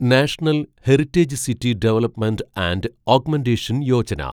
national heritage city development and augmentation Yojana